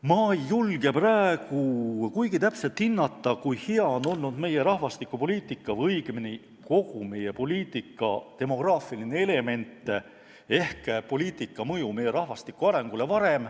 Ma ei julge praegu kuigi kindlalt hinnata, kui hea on seni olnud meie rahvastikupoliitika või õigemini kogu meie poliitika demograafiline element ehk poliitika mõju meie rahvastiku arengule.